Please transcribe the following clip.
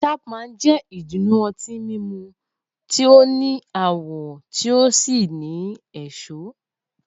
Chapman jẹ́ ìdùnnú ọtí mímu tí ó ní àwọ̀ tí ó sì ní èso.